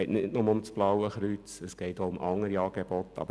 Es geht nicht nur um das Blaue Kreuz, sondern auch um andere Angebote.